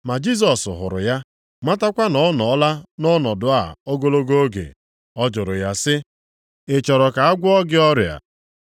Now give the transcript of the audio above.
Mgbe Jisọs hụrụ ya, matakwa na ọ nọọla nʼọnọdụ a ogologo oge, ọ jụrụ ya sị, “Ị chọrọ ka a gwọọ gị ọrịa?”